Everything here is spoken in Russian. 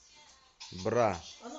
бра